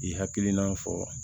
I hakilina fɔ